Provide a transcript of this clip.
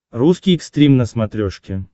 русский экстрим на смотрешке